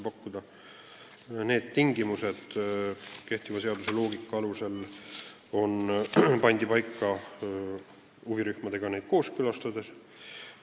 Konkreetsed tingimused pandi kehtiva seaduse loogika alusel paika huvirühmadega kõike kooskõlastades.